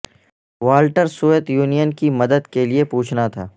Walter Soviet Union کی مدد کے لئے پوچھنا تھا